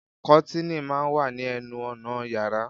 Kọ́tìnì máa ń wà ní ẹnu ọnà yàrá